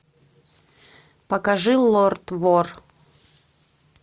покажи лорд вор